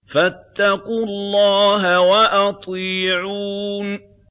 فَاتَّقُوا اللَّهَ وَأَطِيعُونِ